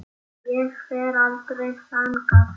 Ég fer aldrei þangað.